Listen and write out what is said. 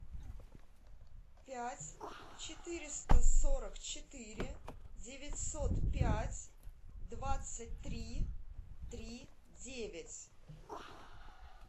пять четыреста сорок четыре девятьсот пять двадцать три три девять